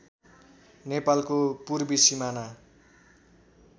नेपालको पूर्वी सिमाना